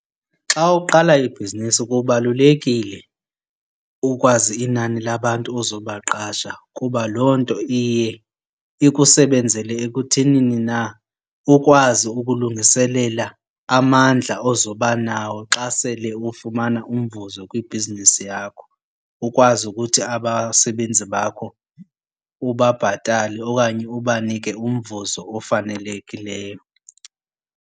Xa ukuqala ibhizinesi kubalulekile ukwazi inani labantu ozobaqasha kuba loo nto iye ikusebenzele ekuthenini na ukwazi ukulungiselela amandla ozoba nawo xa sele ufumana umvuzo kwibhizinesi yakho. Ukwazi ukuthi abasebenzi bakho ubabhatale okanye ubanike umvuzo ofanelekileyo.